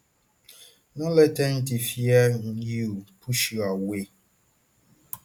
no let anytin fear you push you away